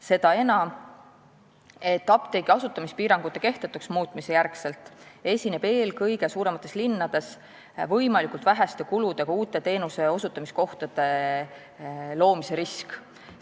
Seda enam, et apteegi asutamispiirangute kehtetuks muutmise järgselt esineb eelkõige suuremates linnades võimalikult väheste kuludega uute teenuseosutamiskohtade loomise risk.